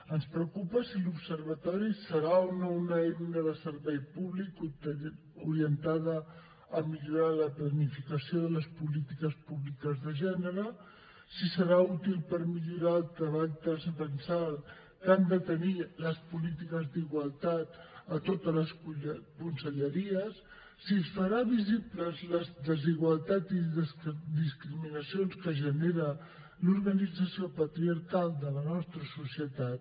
ens preocupa si l’observatori serà o no una eina de servei públic orientada a millorar la planificació de les polítiques públiques de gènere si serà útil per millorar el treball transversal que han de tenir les polítiques d’igualtat a totes les conselleries si es faran visibles les desigualtats i discriminacions que genera l’organització patriarcal de la nostra societat